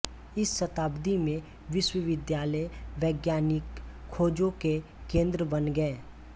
इस शताब्दी में विश्वविद्यालय वैज्ञानिक खोजों के केंद्र बन गए